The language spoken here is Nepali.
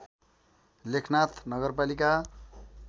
लेखनाथ नगरपालिका